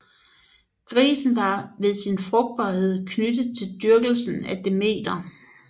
Grisen var ved sin frugtbarhed knyttet til dyrkelsen af Demeter